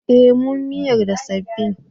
Eh mun miyar da sabbin.